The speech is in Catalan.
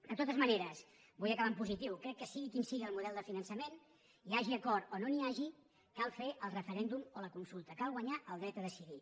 de totes maneres vull acabar en positiu crec que sigui quin sigui el model de finançament hi hagi acord o no n’hi hagi cal fer el referèndum o la consulta cal guanyar el dret a decidir